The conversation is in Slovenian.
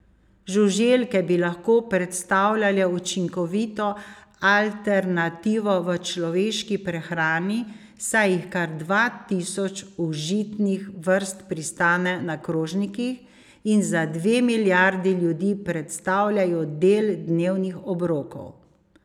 Žuželke bi lahko predstavljale učinkovito alternativo v človeški prehrani, saj jih kar dva tisoč užitnih vrst pristane na krožnikih in za dve milijardi ljudi predstavljajo del dnevnih obrokov.